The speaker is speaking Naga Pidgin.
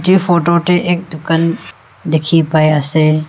yatae photo tey ek dukan dikhi pai ase.